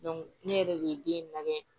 ne yɛrɛ de ye den lajɛ